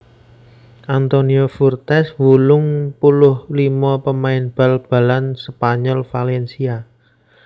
Antonio Fuertes wolung puluh limo pamain bal balan Spanyol Valencia